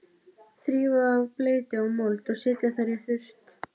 Þrífa af bleytu og mold og setja þær í þurrt.